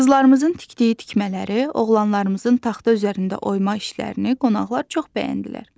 Qızlarımızın tikdiyi tikmələri, oğlanlarımızın taxta üzərində oyma işlərini qonaqlar çox bəyəndilər.